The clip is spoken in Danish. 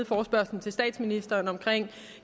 forespørgslen til statsministeren om